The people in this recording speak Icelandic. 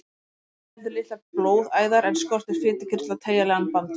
Hann inniheldur litlar blóðæðar en skortir fitukirtla og teygjanlegan bandvef.